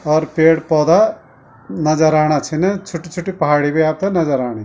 और पेड़-पोधा नजर आणा छिन छुट्टी-छुट्टी पहाड़ी बी आपथे नजर आणी।